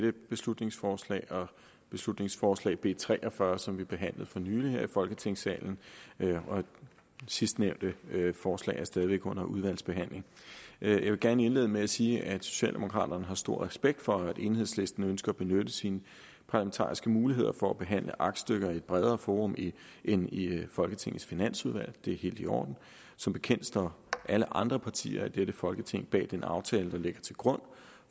dette beslutningsforslag og beslutningsforslag nummer b tre og fyrre som vi behandlede for nylig her i folketingssalen sidstnævnte forslag er stadig væk under udvalgsbehandling jeg vil gerne indlede med at sige at socialdemokraterne har stor respekt for at enhedslisten ønsker at benytte sine parlamentariske muligheder for at behandle aktstykker i et bredere forum end i folketingets finansudvalg det er helt i orden som bekendt står alle andre partier i dette folketing bag den aftale der ligger til grund